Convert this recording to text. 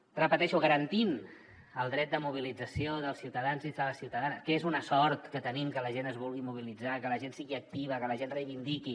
ho repeteixo garantint el dret de mobilització dels ciutadans i de les ciutadanes que és una sort que tenim que la gent es vulgui mobilitzar que la gent sigui activa que la gent reivindiqui